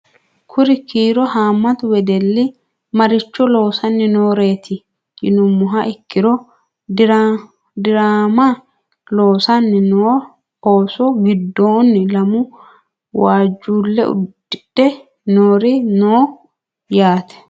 Kuri kiiro haammattu wedelli maricho loosanni nooreetti yinummoha ikkiro diraamma loosanni noo oosso gidoonni lamu waajjule udidhe noori noo yaatte